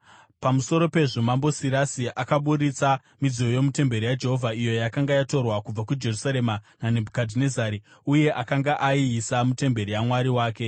Pamusoro pezvo, Mambo Sirasi akaburitsa midziyo yomutemberi yaJehovha, iyo yakanga yatorwa kubva kuJerusarema naNebhukadhinezari uye akanga aiisa mutemberi yamwari wake.